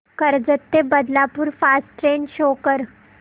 कर्जत ते Badlapur fast train show कर